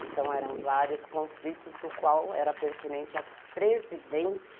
Então eram vários conflitos, do qual era pertinente a presidente